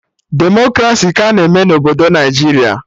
Demokraci ka a na-eme na obodo Naijiria